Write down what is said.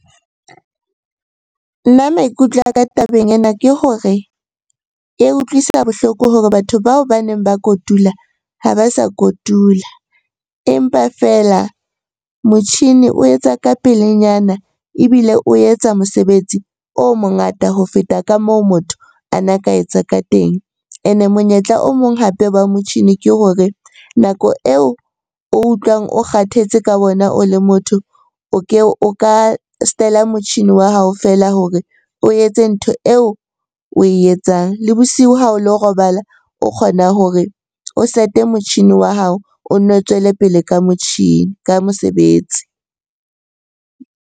Nna maikutlo a ka tabeng ena ke hore e utlwisa bohloko hore batho bao baneng ba kotula ha ba sa kotula. Empa feela motjhini o etsa ka pelenyana ebile o etsa mosebetsi o mongata ho feta ka moo motho a na ka etsa ka teng. Ene monyetla o mong hape wa motjhini ke hore nako eo o utlwang o kgathetse ka ona o le motho, o ka motjhini wa hao feela hore o etse ntho eo oe etsang. Le bosiu ha o lo robala o kgona hore o set-e motjhini wa hao o nno o tswele pele ka mosebetsi.